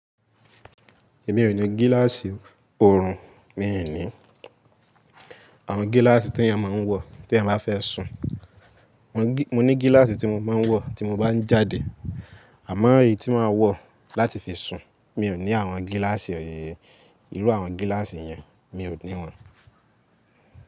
Èmi ò ní gíláàsì ọ̀orùn mi nìí. Àwọn gíláàsì tí ẹeyan máa ń wọ̀ tí ẹeyan bá fẹ́ sùn. Mo ní gíláàsì tí mo máa ń wọ̀ tí mo bá ń jáde àmọ́ èyí tí màá wọ̀ láti fi sùn, mi ò ní àwọn gíláàsì ọ̀yẹ̀yẹ̀. Ìrú àwọn gíláàsì yẹn mi ò ní wọn.